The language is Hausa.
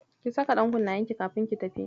Ki saka ɗankunnayenki kafin ki tafi.